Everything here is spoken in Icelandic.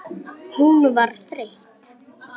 Hún var þreytt.